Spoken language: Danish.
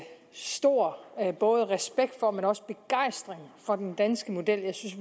stor både respekt og begejstring for den danske model jeg synes